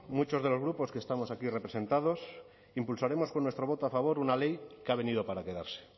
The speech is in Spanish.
muchos de los grupos que estamos aquí representados impulsaremos con nuestro voto a favor una ley que ha venido para quedarse